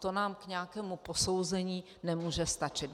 To nám k nějakému posouzení nemůže stačit!